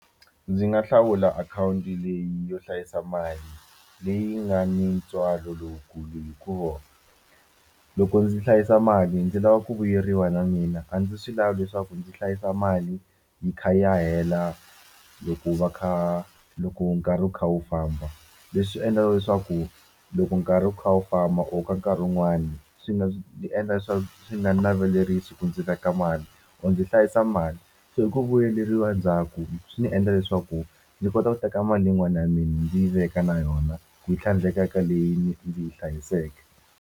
Ndzi nga hlawula akhawunti leyi yo hlayisa mali leyi nga ni ntswalo lowukulu hikuva loko ndzi hlayisa mali ndzi lava ku vuyeriwa na mina a ndzi swi lavi leswaku ndzi hlayisa mali yi kha yi ya hela loko va kha loko nkarhi wu kha wu famba leswi endlaka leswaku loko nkarhi wu kha wu famba or ka nkarhi wun'wani swi endla leswaku swi nga ni navelerisi ku ndzi veka mali or ndzi hlayisa mali so hi ku vuyeleriwa ndzhaku swi ndzi endla leswaku ndzi kota ku teka mali yin'wana ya mina ndzi yi veka na yona ku yi tlhandleka eka leyi ndzi yi hlayiseke.